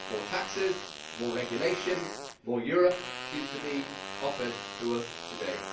More taxes, more regulation, more Europe seems to be offered to us today.